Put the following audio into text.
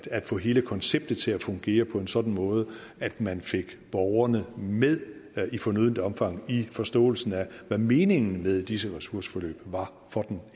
få hele konceptet til at fungere på en sådan måde at man fik borgerne med i fornødent omfang i forståelsen af hvad meningen med disse ressourceforløb var for den